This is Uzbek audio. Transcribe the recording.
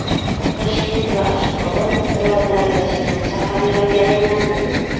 Toshkent va Ashxobod birodarlashgan shaharlarga aylandi.